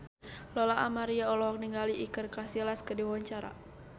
Lola Amaria olohok ningali Iker Casillas keur diwawancara